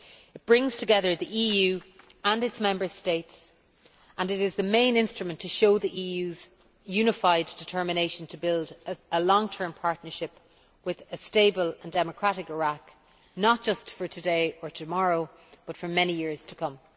It brings together the EU and its Member States and it is the main instrument to show the EU's unified determination to build a long term partnership with a stable and democratic Iraq, not just for today or tomorrow, but for many years to come.